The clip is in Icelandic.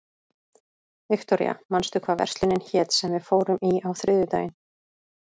Viktoria, manstu hvað verslunin hét sem við fórum í á þriðjudaginn?